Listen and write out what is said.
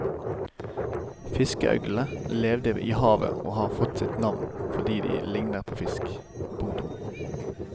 Fiskeøglene levde i havet og har fått sitt navn fordi de lignet på fisk. punktum